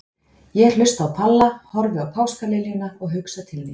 Ég hlusta á Palla, horfi á páskaliljuna og hugsa til þín.